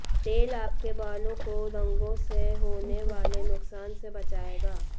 तेल आपके बालों को रंगों से होने वाले नुकसान से बचाएगा